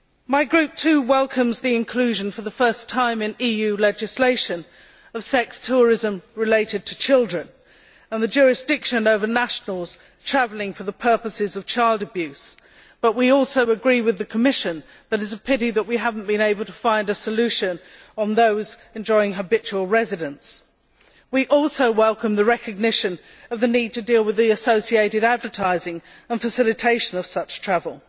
My group, too, welcomes the inclusion for the first time in EU legislation of sex tourism related to children and the jurisdiction over nationals travelling for the purposes of child abuse, but we also agree with the Commission that it is a pity that we have not been able to find a solution on those enjoying habitual residence. We also welcome the recognition of the need to deal with the associated advertising and facilitation of such travel.